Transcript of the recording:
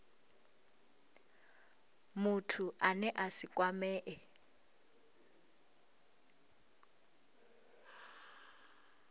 muthu ane a si kwamee